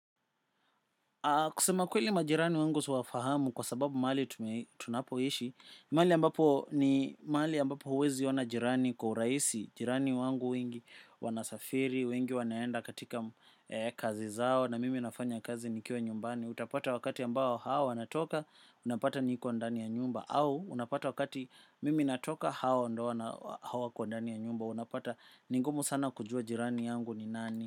Kusema kweli majirani wangu siwafahamu kwa sababu mali tunapoishi, mahali ambapo ni mahali ambapo huweziona jirani kwa urahisi, jirani wangu wengi wanasafiri, wengi wanaenda katika kazi zao na mimi nafanya kazi nikiwa nyumbani. Utapata wakati ambao hao wanatoka, unapata niko ndani ya nyumba au unapata wakati mimi natoka hao ndio wana hawako ndani ya nyumba, unapata ni ngumu sana kujua jirani yangu ni nani.